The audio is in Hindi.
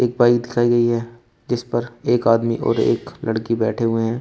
बाइक दिखाई गई है जिस पर एक आदमी और एक लड़की बैठे हुए हैं।